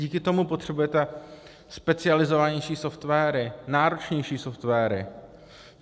Díky tomu potřebujete specializovanější software, náročnější software.